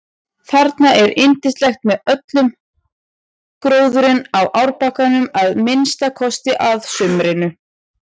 Þarna er yndislegt með öllum gróðrinum á árbakkanum að minnsta kosti að sumrinu.